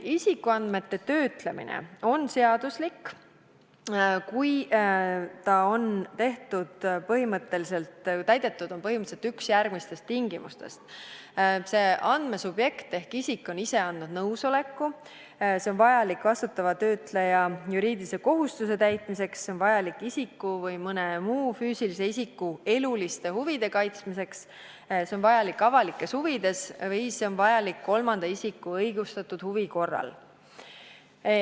Isikuandmete töötlemine on seaduslik, kui põhimõtteliselt on täidetud üks järgmistest tingimustest: andmesubjekt ehk isik on ise andnud nõusoleku; see on vajalik vastutava töötleja juriidilise kohustuse täitmiseks; see on vajalik isiku enda või mõne muu füüsilise isiku eluliste huvide kaitsmiseks; see on vajalik avalikes huvides või see on vajalik kolmanda isiku õigustatud huvi korral.